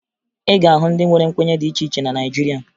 Ị ga-ahụ ndị nwere nkwenye dị iche iche na Naịjirịa